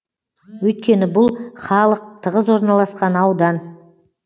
өйткені бұл халық тығыз орналасқан аудан